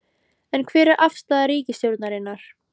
Er, hver er afstaða ríkisstjórnarinnar?